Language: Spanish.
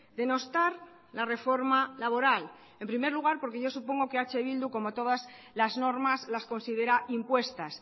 denostar la reforma laboral en primer lugar porque yo supongo que eh bildu como todas las normas las considera impuestas